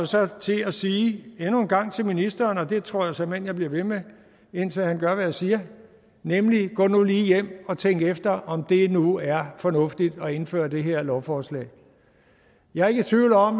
så til at sige endnu en gang til ministeren og det tror jeg såmænd jeg bliver ved med indtil han gør hvad jeg siger gå nu lige hjem og tænk efter om det nu er fornuftigt at indføre det her lovforslag jeg er ikke i tvivl om